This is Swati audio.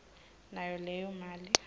nayo leyo mali